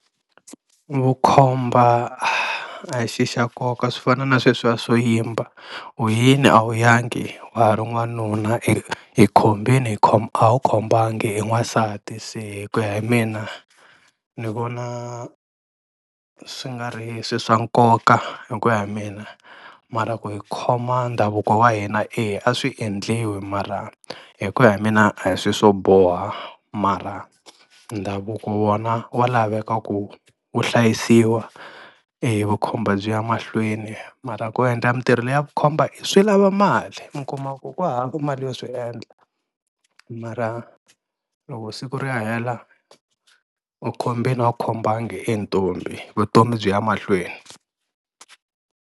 Vukhomba a hi xi xa nkoka swi fana na sweswiya swo yimba u yini a wu yangi wa ha ri n'wanuna, i i khombile a wu khombanga i n'wansati se ku ya hi mina ni vona swi nga ri swilo swa nkoka hi ku ya hi mina, mara ku hi khoma ndhavuko wa hina eya a swi endliwi mara hi ku ya hi mina a hi swilo swo boha mara ndhavuko wona wa laveka ku wu hlayisiwa, e vukhomba byi ya mahlweni mara ku endla mintirho leya vukhomba i swi lava mali, mi kuma ku ku hava mali yo swi endla mara loko siku ri ya hela u khombile a wu khombanga i ntombi vutomi byi ya mahlweni.